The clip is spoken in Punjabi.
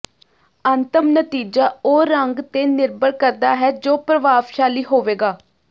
ਅੰਤਮ ਨਤੀਜਾ ਉਹ ਰੰਗ ਤੇ ਨਿਰਭਰ ਕਰਦਾ ਹੈ ਜੋ ਪ੍ਰਭਾਵਸ਼ਾਲੀ ਹੋਵੇਗਾ